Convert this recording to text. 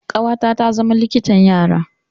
Ƙawata ta zama likitan yara.